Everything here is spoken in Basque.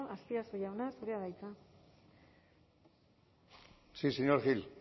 azpiazu jauna zurea da hitza sí señor gil